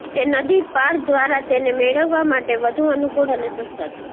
તે નદી પાર દ્વારા તેને મેળવવા માટે વધુ અનુકૂળ અને સસ્તા છે